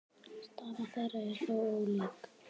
Staða þeirra er þó ólík.